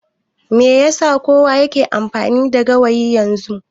Me yasa kusan kowa yake amfani da gawayi yanzu?